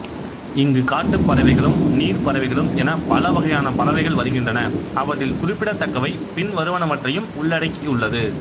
இங்கு காட்டுப் பறவைகளும் நீர் பறவைகளும் என பல வகையான பறவைகள் வருகின்றன அவற்றில் குறிப்பிடத்தக்கவை பின்வருவனவற்றையும் உள்ளடக்கியுள்ளது